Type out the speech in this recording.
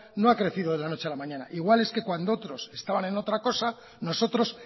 no ha crecido de la noche a la mañana igual es que cuando otros estaban en otra cosa nosotros